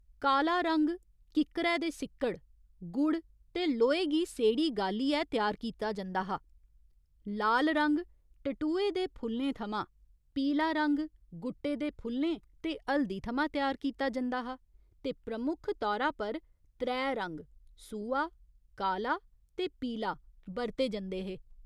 काला रंग किक्करै दे सिक्कड़, गुड़ ते लोहे गी सेड़ी गालियै त्यार कीता जंदा हा, लाल रंग टटूहे दे फुल्लें थमां, पीला रंग गुट्टे दे फुल्लें ते हल्दी थमां त्यार कीता जंदा हा ते प्रमुख तौरा पर त्रै रंग सूहा, काला ते पीला बरते जंदे हे।